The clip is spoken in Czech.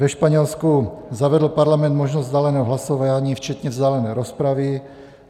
Ve Španělsku zavedl parlament možnost vzdáleného hlasování včetně vzdálené rozpravy.